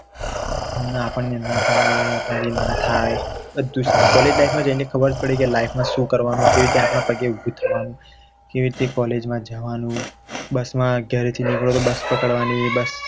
આપણને ના ફાવે કે આપણા થી ના થાય College life માં જેને પડી કે life માં શું કરવાનું કેવી રીતે આપણા પગ ઉપર ઉભું થવાનું કેવી રીતે College માં જવાનું બસમાં ઘરેથી નીકળો તો બસ પકડવાની